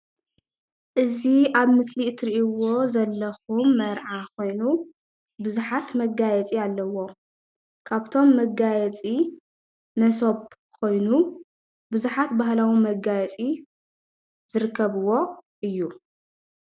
እዚ ኣብ ምስሊ እትሪእዎ ዘለኩም መርዓ ኮይኑ ብዙሓት መጋየፂ ኣለዎ፣ ካብቶም መጋየፂ መሶብ ኮይኑ ብዙሓት ባህላዊ መጋየፂ ዝርከብዎ እዩ፡፡